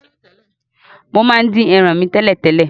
Mo máa n dín eran mi tẹ̀lẹ́tẹ̀lẹ́